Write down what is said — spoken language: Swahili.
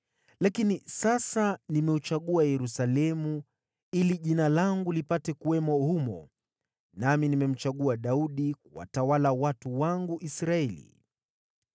Lakini sasa nimeuchagua Yerusalemu ili Jina langu lipate kuwamo humo, na nimemchagua Daudi kuwatawala watu wangu Israeli.’